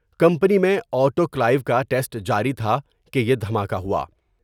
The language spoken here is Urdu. کمپنی میں آٹو کلیو ٹیسٹ جاری تھا کہ یہ دھماکہ ہوا ۔